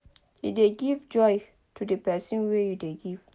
e dey give joy to the person wey dey give